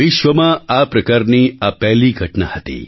વિશ્વમાં આ પ્રકારની આ પહેલી ઘટના હતી